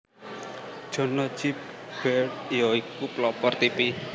John Logie Baird ya iku pelopor tipi